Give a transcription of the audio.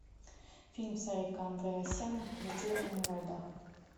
фильм сарика андреасяна затерянные во льдах